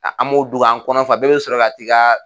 An b'o dun k'an kɔnɔ fa. bɛɛ be sɔrɔ ka t'i ka